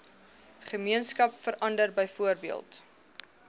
gemeenskap verander byvoorbeeld